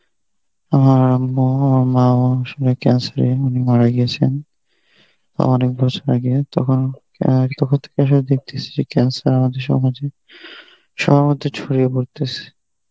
আমার ম~ মাও cancer এ উনি মারা গিয়েছেন অনেক বছর আগে তখন অ্যাঁ দেখতেসি cancer আমাদের সমাজে সবার মধ্যে ছড়িয়ে পড়তেসে